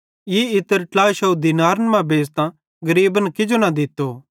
ई इत्र 300 दीनारन मां बेच़तां गरीबन किजो न दित्तो